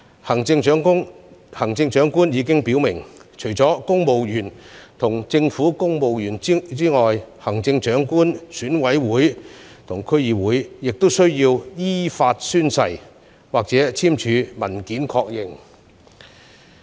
行政長官已經表明，除公務員和政府官員外，行政長官選舉委員會和區議會的成員均須依法宣誓或簽署文件確認。